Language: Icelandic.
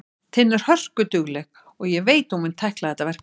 Tinna er hörkudugleg og ég veit að hún mun tækla þetta verkefni.